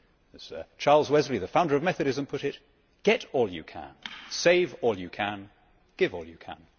As Charles Wesley, the founder of Methodism, put it get all you can, save all you can, give all you can.